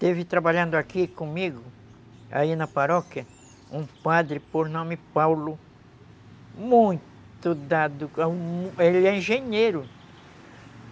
Teve trabalhando aqui comigo, aí na paróquia, um padre por nome Paulo, muito dado, ele é engenheiro.